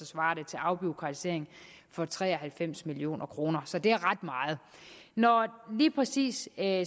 svarer til afbureaukratisering for tre og halvfems million kroner så det er ret meget når det lige præcis er